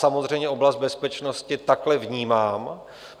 Samozřejmě oblast bezpečnosti takhle vnímám.